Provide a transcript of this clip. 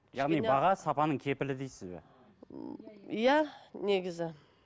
яғни баға сапаның кепілі дейсіз бе иә негізі